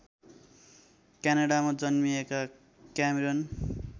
क्यानडामा जन्मिएका क्यामेरन